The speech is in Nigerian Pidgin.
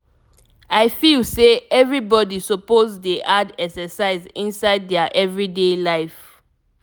i feel say everybody suppose dey add exercise inside their everyday life.